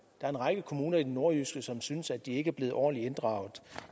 er en række kommuner i det nordjyske som synes at de ikke er blevet ordentlig inddraget